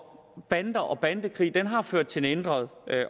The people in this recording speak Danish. bander og bandekrig har ført til en ændret